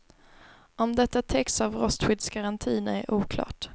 Om detta täcks av rostskyddsgarantin är oklart.